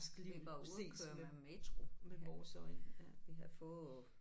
Vi var ude og køre med metro vi havde fået